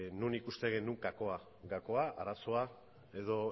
non ikusten dugun gakoa arazoa edo